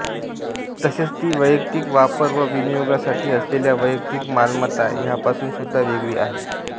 तसेच ती वैयक्तिक वापर व विनियोगासाठी असलेल्या वैयक्तिक मालमत्ता ह्यापासूनसुद्धा वेगळी आहे